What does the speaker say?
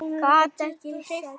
Gat ekki hreyft sig.